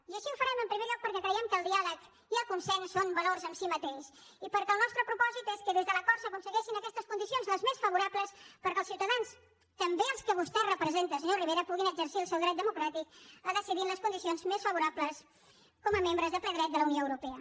i així ho farem en primer lloc perquè creiem que el diàleg i el consens són valors en si mateix i perquè el nostre propòsit és que des de l’acord s’aconsegueixin aquestes condicions les més favorables perquè els ciutadans també els que vostè representa senyor rivera puguin exercir el seu dret democràtic a decidir en les condicions més favorables com a membres de ple dret de la unió europea